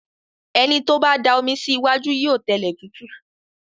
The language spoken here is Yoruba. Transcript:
Ẹni tó bá da omi sí iwájú yóò tẹlẹ̀ tútù.